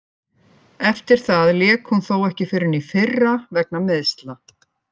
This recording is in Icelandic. Eftir það lék hún þó ekki fyrr en í fyrra vegna meiðsla.